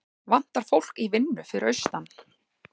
Vantar fólk í vinnu fyrir austan